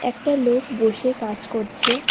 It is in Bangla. একটা লোক বসে কাজ করছে।